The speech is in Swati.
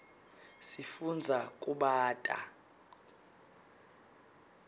sifundza kubata